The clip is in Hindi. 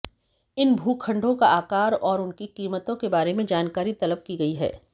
इन भूखंडों का आकार और उनकी कीमतों के बारे में जानकारी तलब की गयी है